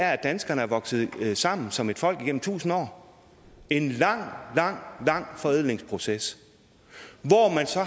er at danskerne er vokset sammen som et folk gennem tusind år en lang lang lang forædlingsproces hvor man så